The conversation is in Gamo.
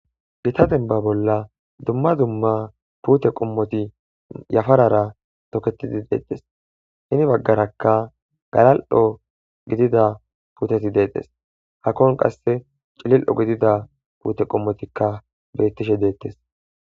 gita denba bolla dumma dumma puute qommoti yafarara toketidi deetes hini baggarakka galal7o gidida puteti deedes hakkon qasse cilil7o gidida puute qommotikka bettishe deettes